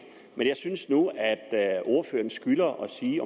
men jeg synes nu at ordføreren skylder at sige